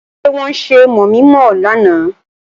Ṣé wọ́n ṣe mọ̀mi-mọ̀ ọ lánàá?